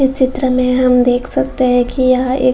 इस चित्र में हम देख सकते है कि यह एक --